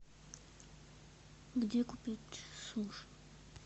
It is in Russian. где купить суши